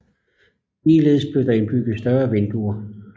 Ligeledes blev der indbygget større vinduer